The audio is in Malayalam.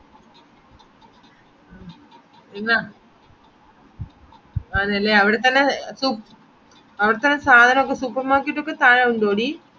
പിന്നാ അതെല്ലേ അവിടെത്തന്നെ സു അവിടെത്തന്നെ സാധനൊക്കെ supermarket ഒക്കെ ഉണ്ടോടീ